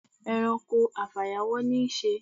E̩ranko afàyàwó̩ ní í s̩e.